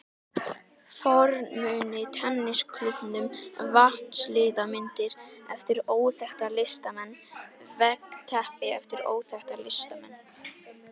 fornmuni, tennisklúbbinn, vatnslitamyndir eftir óþekkta listamenn, veggteppi eftir óþekkta listamenn.